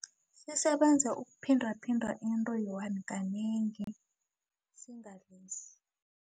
Sisebenza ukuphindaphinda into kanengi